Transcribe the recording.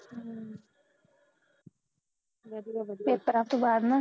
paper ਤੋਂ ਬਾਦ ਨਾ